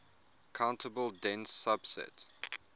countable dense subset